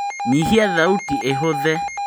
nyihia thauti ĩhũthe